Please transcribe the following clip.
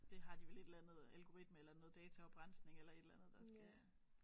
Det har de vel et eller andre algoritme eller noget dataoprensning eller et eller andet der skal